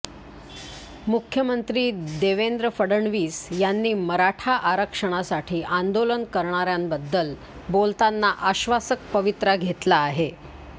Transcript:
मुख्यमंत्री देवेंद्र फडणवीस यांनी मराठा आरक्षणासाठी आंदोलन करणाऱ्याबद्दल बोलताना आश्वासक पवित्रा घेतला आहे